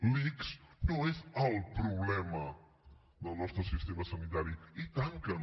l’ics no és el problema del nostre sistema sanitari i tant que no